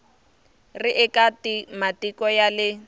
ri eka matiko ya le